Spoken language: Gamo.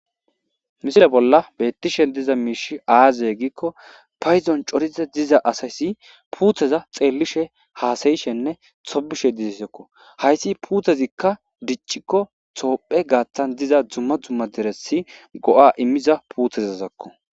Misile bolla bettishe diza miishi aaze giikko payzon coriza diza asayssi puutheza xeellishe haasayishenne sobishe disesekko hayssi puuthezikka diccikko toophe gaattan diza dzumma dzumma diresi go7a immiza puutheza zakko.